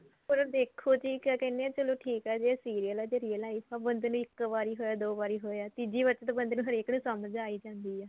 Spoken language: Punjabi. ਪਰ ਉਹ ਦੇਖੋ ਜੀ ਕਿਆ ਕਹਿੰਦੇ ਏ ਚਲੋ ਠੀਕ ਏ serial ਏ ਜੇ real life ਚ ਬੰਦੇ ਨੂੰ ਇੱਕ ਵਾਰੀ ਹੋਇਆ ਦੋ ਵਾਰੀ ਹੋਇਆ ਤੀਜੀ ਵਾਰੀ ਤਾਂ ਹਰੇਕ ਨੂੰ ਸਮਝ ਆ ਹੀ ਜਾਂਦੀ ਏ